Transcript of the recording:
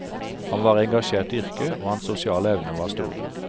Han var engasjert i yrket, og hans sosiale evner var store.